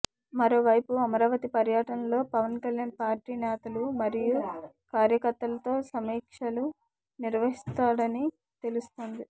మరోవైపు అమరావతి పర్యటనలో పవన్ కళ్యాణ్ పార్టీ నేతలు మరియు కార్యకర్తలతో సమీక్షలు నిర్వహిస్తాడని తెలుస్తోంది